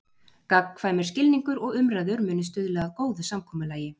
Gagnkvæmur skilningur og umræður muni stuðla að góðu samkomulagi.